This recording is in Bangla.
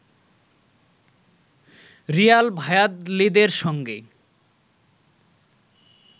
রিয়াল ভায়াদলিদের সঙ্গে